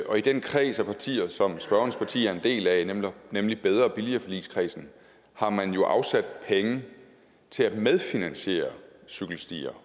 og i den kreds af partier som spørgerens parti er en del af nemlig bedre og billigere forligskredsen har man jo afsat penge til at medfinansiere cykelstier